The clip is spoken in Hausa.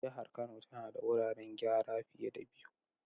Jihar Kano tana da wuraren gyara fiye da biyu.